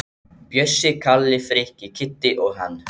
Bjössi, Kalli, Frikki, Kiddi og hann.